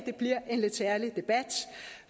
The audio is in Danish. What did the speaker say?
bliver en lidt særlig debat